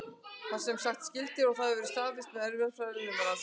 Þeir eru semsagt skyldir og það hefur verið staðfest með erfðafræðilegum rannsóknum.